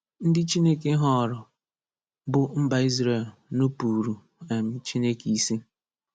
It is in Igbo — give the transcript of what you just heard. Ndị Chineke họọrọ, bụ mba Izrel, nupuuru um Chineke isi.